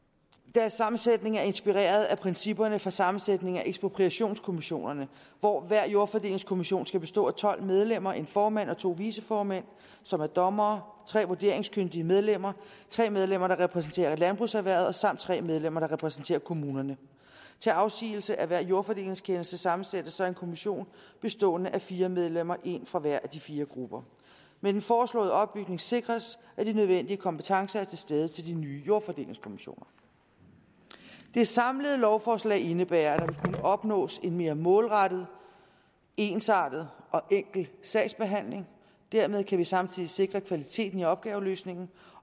deres sammensætning er inspireret af principperne for sammensætning af ekspropriationskommissionerne hvor hver jordfordelingskommission skal bestå af tolv medlemmer en formand og to viceformænd som er dommere tre vurderingskyndige medlemmer tre medlemmer der repræsenterer landbrugserhvervet samt tre medlemmer der repræsenterer kommunerne til afsigelse af hver jordfordelingskendelse sammensættes så en kommission bestående af fire medlemmer en fra hver af de fire grupper med den foreslåede opbygning sikres at de nødvendige kompetencer er til stede til de nye jordfordelingskommissioner det samlede lovforslag indebærer at opnås en mere målrettet ensartet og enkel sagsbehandling dermed kan vi samtidig sikre kvaliteten i opgaveløsningen